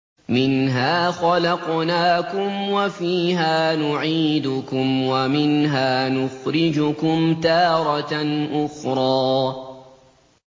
۞ مِنْهَا خَلَقْنَاكُمْ وَفِيهَا نُعِيدُكُمْ وَمِنْهَا نُخْرِجُكُمْ تَارَةً أُخْرَىٰ